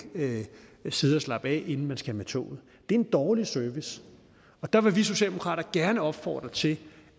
ikke sidde og slappe af inden man skal med toget det er en dårlig service der vil vi socialdemokrater gerne opfordre til